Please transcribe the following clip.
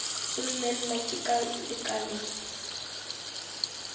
gomme nna ke ka lekaleng